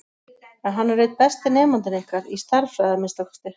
En hann er einn besti nemandinn ykkar, í stærðfræði að minnsta kosti.